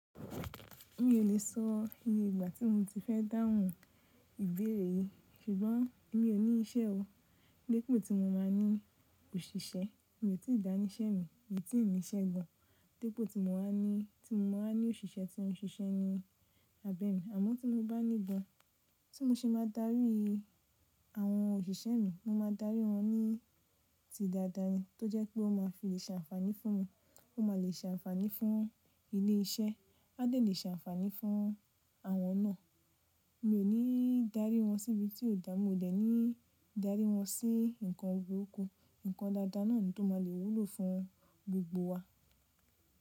Mi ò lè sọ iye igbà tí mo ti fẹ́ dáhùn ìbéèrè yìí, ṣùgbọ́n mi ò ní ìṣẹ́ o. Dípo tí mo máa ní òṣìṣẹ́, mi ò tí ì dáni iṣẹ́ mi, mi ò tí ì ńíṣe gan. Dípo tí mo wá ní, tí mo wá ní òṣìṣẹ́ tí ó ń ṣiṣẹ́ ni abẹ mi. Àma tí mo bá ní gan, tí mo ṣe máa darí àwọn òṣìṣẹ́ mi, mo máa darí wọn ní ti dáadáa ni. Tó jẹ́ pé ó máa fi ṣe ànfàní fún mi, ó má lè ṣe ànfàní fún ilé iṣẹ́, a lè ṣe ànfàní fún àwọn náà. Mi ò ní darí wọn síbi tí ó dámu, mo dẹ̀ ní darí wọn sí nǹkan burúkú. Nǹkan dáadáa náà ni tó máa le wúlò fún gbogbo wa.